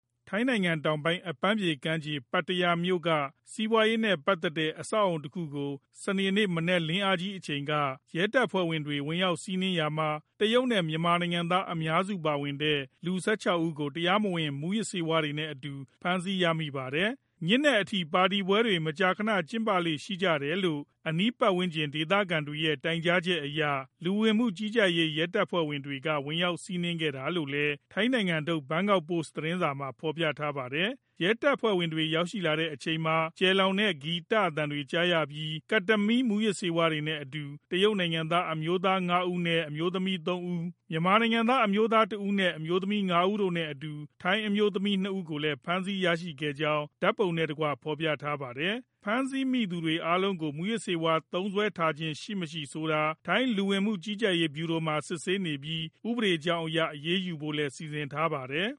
ထိုင်းနိုင်ငံတောင်ပိုင်း အပန်းဖြေကမ်းခြေ ပတ္တယားမြို့က စီးပွားရေးနဲ့ပတ်သက်တဲ့ အဆောက်အဦတခုကို စနေနေ့ မနက်လင်းခါနီးအချိန် ရဲတပ်ဖွဲ့က ဝင်ရောက်စီးနင်းခဲ့ရာမှာ တရုတ်နဲ့ မြန်မာနိုင်ငံသား အများစုပါဝင်တဲ့ လူ ၁၆ ဦးကို တရားမဝင် မူးယစ်ဆေးဝါးတွေနဲ့အတူ ဖမ်းဆီးရမိပါတယ်။ ညဉ့်နက်အထိ ပါတီပွဲတွေ မကြာခဏ ကျင်းပလေ့ ရှိကြတယ်လို့ အနီးပတ်ဝန်းကျင်က ဒေသခံတွေရဲ့ တိုင်ကြားချက်အရ လူဝင်မှုကြီးကြပ်ရေး ရဲတပ်ဖွဲ့ဝင်တွေက ဝင်ရောက် စီးနင်းခဲ့တာလို့လည်း ထိုင်းနိုင်ငံထုတ် ဘန်ကောက်ပို့စ်သတင်းစာက ဖော်ပြပါတယ်။ ရဲတပ်ဖွဲ့ဝင်တွေ ရောက်ရှိတဲ့အချိန်မှာ ကျယ်လောင်တဲ့ ဂီတသံတွေ ကြားရပြီး Ketamine မူးယစ်ဆေးဝါးတွေနဲ့အတူ တရုတ်နိုင်ငံသား အမျိုးသား ၅ ဦးနဲ့ အမျိုးသမီး ၃ ဦး၊ မြန်မာနိုင်ငံသား အမျိုးသားတဦးနဲ့ အမျိုးသမီး ၅ ဦးတို့နဲ့အတူ ထိုင်းအမျိုးသမီး ၂ ဦးကိုလည်း ဖမ်းဆီးမိခဲ့ကြောင်း ဓာတ်ပုံနဲ့တကွ ဖော်ပြခဲ့တာပါ။ ဖမ်းဆီးမိတဲ့သူအားလုံးကို မူးယစ်ဆေးဝါး သုံးစွဲထားခြင်းရှိမရှိ ဆိုတာကို ထိုင်းလူဝင်မှုကြီးကြပ်ရေးဗျူရိုမှာ စစ်ဆေးနေပြီး ဥပဒေကြောင်းအရ အရေးယူဖို့လည်း စီစဉ်ထားပါတယ်